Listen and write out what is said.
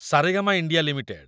Saregama India limited